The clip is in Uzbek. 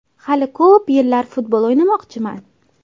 Hali ko‘p yillar futbol o‘ynamoqchiman.